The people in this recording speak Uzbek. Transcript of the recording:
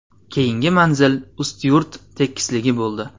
Keyingi manzil Ustyurt tekisligi bo‘ldi.